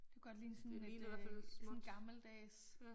Det kunne godt ligne sådan et øh sådan et gammeldags